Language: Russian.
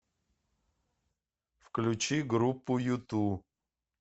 включи группу юту